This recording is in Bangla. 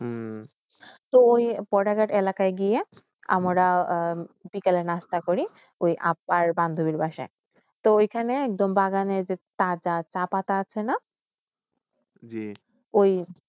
ঐ বোর্ডেরক্ষত এলেকই গিয়া আমারা বিকালে নাস্তা করি ঐ আপবার বান্ধবীর পাশে তো এইখানে বাগানে শাহপাটা আসে ঐ